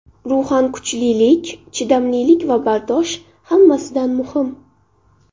Ruhan kuchlilik, chidamlilik va bardosh hammasidan muhim.